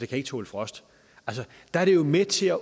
kan tåle frost er det jo med til at